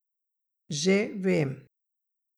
Že vem.